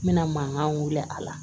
N bɛna mankan wuli a la